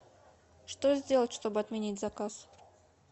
что сделать чтобы отменить заказ